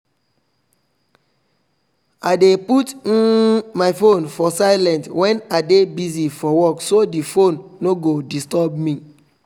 i dey put um my phone for silent when i dey busy for work so the phone no go disturb me